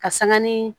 Ka sanga ni